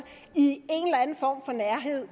i